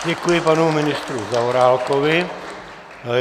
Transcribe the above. Děkuji panu ministru Zaorálkovi.